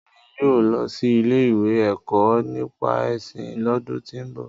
Emi yóò lọ si ile-iwe Ẹkọ nipa ẹsin lọ́dùn ti ń bọ.